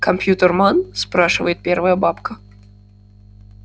компьютерман спрашивает первая бабка